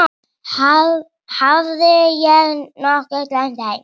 Hafði ég nokkuð gleymt þeim?